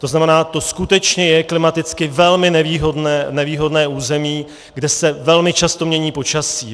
To znamená, to skutečně je klimaticky velmi nevýhodné území, kde se velmi často mění počasí.